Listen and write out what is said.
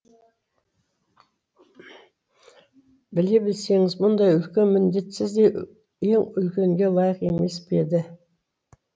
біле білсеңіз мұндай үлкен міндет сіздей ел үлкенге лайық емес пе еді